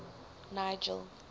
nigel